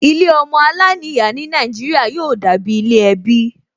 Ilé ọmọ aláìníyàá ní Nàìjíríà yóò dàbí ilé ẹbí